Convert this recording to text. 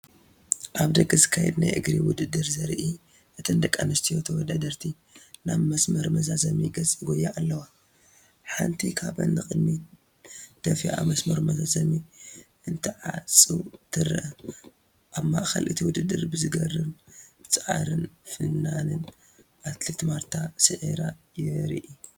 ኣብ ደገ ዝካየድ ናይ እግሪ ውድድር ዘርኢ፣ እተን ደቂ ኣንስትዮ ተወዳደርቲ ናብ መስመር መዛዘሚ ገጻ ይጎያ ኣለዋ፡ ሓንቲ ካብአን ንቕድሚት ደፊኣ መስመር መዛዘሚ እንትዓጽው ትረአ። ኣብ ማእከል እቲ ውድድር ብዘገርም ጻዕርን ፍናንን ኣትሌት ማርታ ሲዒራ የርኢ፡፡